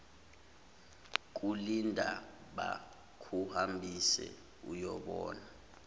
kulinda bakuhambise uyobona